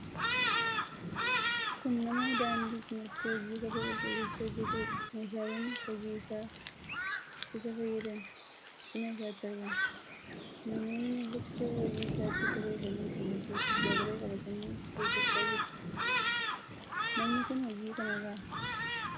Kun nama daandii cinatti hojii kophee qulqulleessuu hojjetuudha. Meeshaaleen hojii isaaf isa fayyadan cina isaatti argamu. Namoonni bakka hojii isaatti kophee isaanii qulqulleeffachuuf darabee qabatanii eeggachaa jiru. Namni kun hojii kanarraa galii hangamii argachuu danda'a?